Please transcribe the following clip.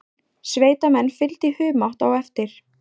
Sveitamenn fylgdu í humátt á eftir.